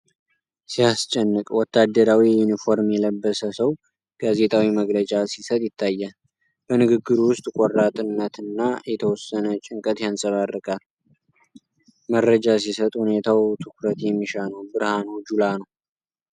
ሲያስጨንቅ! ወታደራዊ ዩኒፎርም የለበሰ ሰው ጋዜጣዊ መግለጫ ሲሰጥ ይታያል። በንግግሩ ውስጥ ቆራጥነትና የተወሰነ ጭንቀት ይንጸባረቃል። መረጃ ሲሰጥ፣ ሁኔታው ትኩረት የሚሻ ነው። ብርሃኑ ጁላ ነው።